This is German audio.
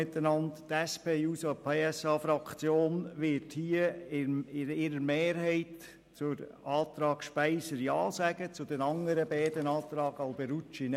Die SP-JUSO-PSA-Fraktion wird mehrheitlich Ja sagen zum Antrag von Grossrätin Speiser und Nein zu den Planungserklärungen von Grossrat Alberucci.